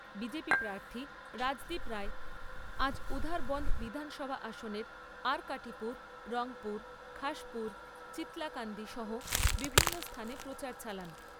B J P প্রার্থী রাজদীপ রায় আজ উধারবন্দ বিধানসভা আসনের আরকাটিপুর, রংপুর, খাসপুর, চিলতাকান্দি সহ বিভিন্ন স্থানে প্রচার চালান।